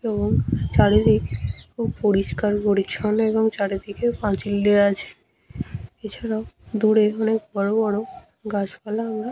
এবং চারিদিক খুব পরিষ্কার পরিচ্ছন্ন এবং চারিদিকে পাঁচিল দেয়া আছে। এছাড়াও দূরে অনেক বড় বড় গাছ পালা আমরা--